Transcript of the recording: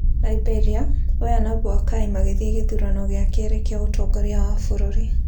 Liberia: Weah na Boakai magĩthiĩ gĩthurano gĩa kerĩ kĩa ũtongoria wa bũrũri